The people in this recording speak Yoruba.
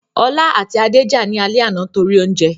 Ọlá àti Adé jà ní alẹ́ àná torí oúnjẹ